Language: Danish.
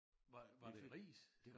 Var var det ris?